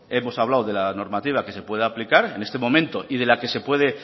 hemos hablado de la normativa que se puede aplicar en este momento y de la que se puede